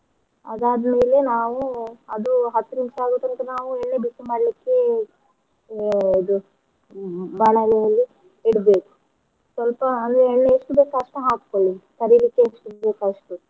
ಅದಾದ್ ಮೇಲೆ ನಾವು ಅದು ಹತ್ತು ನಿಮಿಷ ಆಗುತನ್ಕ ನಾವು ಎಣ್ಣೆ ಬಿಸಿ ಮಾಡ್ಲಿಕ್ಕೆ ಯ~ ಇದು ಹ್ಮ್ ಬಾಣಲಿಯಲ್ಲಿ ಇಡ್ಬೇಕು ಸ್ವಲ್ಪ ಅದು ಎಣ್ಣೆ ಎಷ್ಟು ಬೇಕು ಅಷ್ಟು ಹಾಕೋಳ್ಳಿ ಕರಿಲಿಕ್ಕೆ ಎಷ್ಟು ಬೇಕು ಅಷ್ಟು.